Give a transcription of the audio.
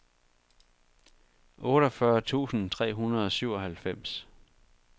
otteogfyrre tusind tre hundrede og syvoghalvfems